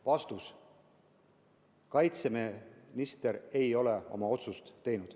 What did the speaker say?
Vastus: kaitseminister ei ole oma otsust teinud.